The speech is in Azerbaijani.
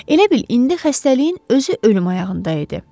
Elə bil indi xəstəliyin özü ölüm ayağında idi.